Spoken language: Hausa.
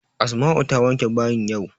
Asma'u ta wanke bayin yau.